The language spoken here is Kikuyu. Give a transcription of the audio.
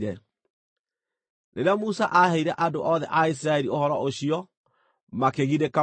Rĩrĩa Musa aaheire andũ othe a Isiraeli ũhoro ũcio, makĩgirĩka mũno.